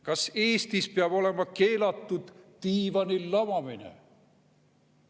Kas Eestis peab olema keelatud diivanil lamamine?